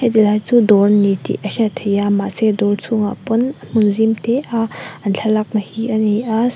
helai chu dawr a ni tih a hriat theih a mahse dawr chhungah pawn hmun zimte a an thlalakna hi a ni a.